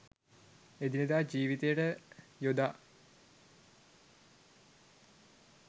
එදිනෙදා ජීවිතයට යොදා